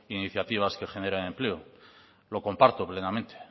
iniciativas que generen empleo lo comparto plenamente